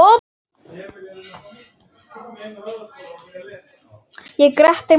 Ég gretti mig meira.